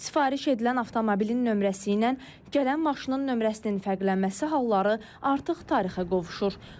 Sifariş edilən avtomobilin nömrəsi ilə gələn maşının nömrəsinin fərqlənməsi halları artıq tarixə qovuşur.